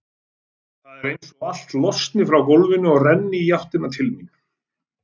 Það er einsog allt losni frá gólfinu og renni í áttina til mín.